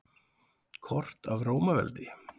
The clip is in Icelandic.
Kort af Rómaveldi.